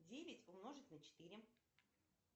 девять умножить на четыре